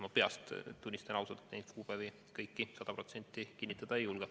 Ma peast, tunnistan ausalt, seda sada protsenti kinnitada ei julge.